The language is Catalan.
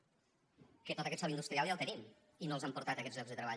que tot aquest sòl industrial ja el tenim i no els han portat aquests llocs de treball